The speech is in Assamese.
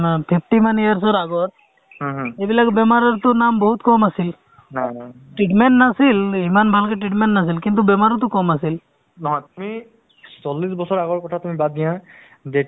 আৰু মই কি ভাবো আৰু মোৰ মোৰমতে কি দে ধৰক আমি এটা আ অ ইতা মানে ধৰক আ park ও এটা নিৰ্মান কৰিব লাগে য'ত নেকি আপোনাৰ য'ত স্ৱাস্থ্যৰ মানে শৰীৰ চৰ্চা হয় য'ত মানে মানুহে ধৰক